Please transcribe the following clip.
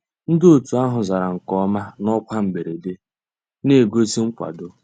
Ndị́ ótú àhụ́ zàrà nkè ọ́má ná ọ́kwá mbérèdé, ná-ègósì nkwàdó.